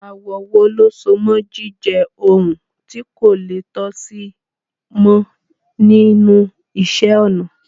Àwọ̀ wo ló so mọ́ jíjẹ́ ohun tí kò le tó sì mọ́ nínú iṣẹ́-ọnà?